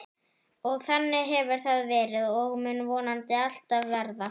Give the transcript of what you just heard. Og þannig hefur það verið og mun vonandi alltaf verða.